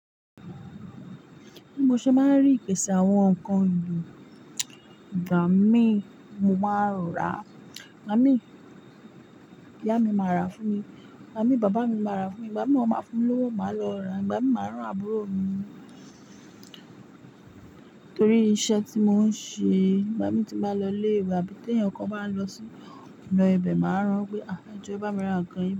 Bí mo ṣe máa ń rí ìpèsè àwọn nǹkan ìlù, ìgbà mí mo máa rà á, ìgbà mi ìyá mi máa rà á fún mi, ìgbà mi bàbá mi máa rà á fún mi, ìgbà mi won máa fún mi lówó, màá lọ rà á, ìgbà mi máa rán àbúrò mi nítorí iṣẹ́ tí mò ń ṣe. Ìgbà mí tí n bá lọ ilé ìwé àbí tí ẹ̀yàn kan bá lọ sí ọ̀nà ibẹ̀, màá rán pé, "ejo, e bá mi ra nǹkan yìí."